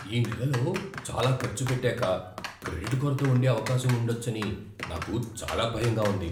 ఈ నెలలో చాలా ఖర్చు పెట్టాక క్రెడిట్ కొరత ఉండే అవకాశం ఉండొచ్చని నాకు చాలా భయంగా ఉంది.